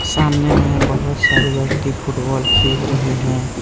सामने में बहुत सारे व्यक्ति फुटबॉल खेल रहे हैं।